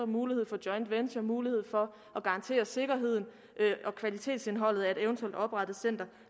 mulighed for joint venture mulighed for at garantere sikkerheden og kvalitetsindholdet af et eventuelt oprettet center